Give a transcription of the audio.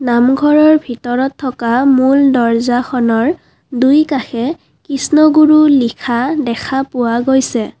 নামঘৰৰ ভিতৰত থকা মূল দৰ্জাখনৰ দুইকাষে কৃষ্ণগুৰু লিখা দেখা পোৱা গৈছে।